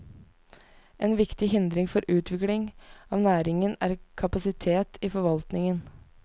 En viktig hindring for utvikling av næringen er kapasiteten i forvaltningen.